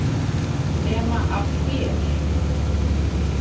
Nema af þér.